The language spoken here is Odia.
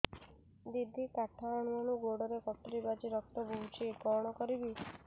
ଦିଦି କାଠ ହାଣୁ ହାଣୁ ଗୋଡରେ କଟୁରୀ ବାଜି ରକ୍ତ ବୋହୁଛି କଣ କରିବି